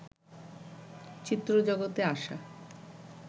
চিত্র জগতে আসা